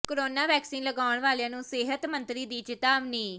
corona vaccine ਲਗਾਉਣ ਵਾਲਿਆਂ ਨੂੰ ਸਿਹਤ ਮੰਤਰੀ ਦੀ ਚਿਤਾਵਨੀ